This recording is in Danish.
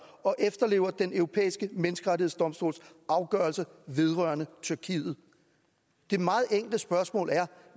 og efterlever den europæiske menneskerettighedsdomstols afgørelser vedrørende tyrkiet det meget enkle spørgsmål er